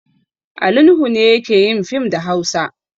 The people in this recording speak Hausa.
Ali Nuhu ne yake yin fim da Hausa.